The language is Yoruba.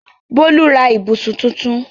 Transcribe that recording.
Bólú ra ibùsùn tuntun?